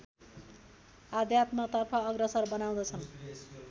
आध्यात्मतर्फ अग्रसर बनाउँदछन्